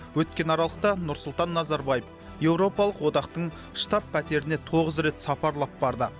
өткен аралықта нұрсұлтан назарбаев европалық одақтың штаб пәтеріне тоғыз рет сапарлап барды